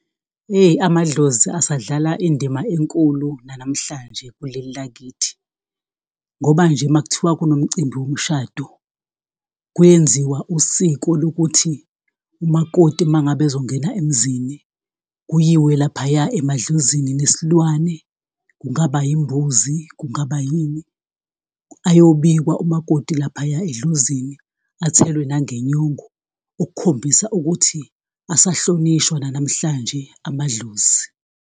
Yeyi amadlozi asadlala indima enkulu nanamhlanje kuleli lakithi. Ngoba nje makuthiwa kunomcimbi womshado, kuyenziwa usiko lokuthi umakoti uma ngabe ezongena emzini, kuyiwe laphaya emadlozini nesilwane kungaba yimbuzi, Kungaba yini, ayobikwa umakoti laphaya edlozini athelwe nangenyongo, ukukhombisa ukuthi asahlonishwa nanamhlanje amadlozi.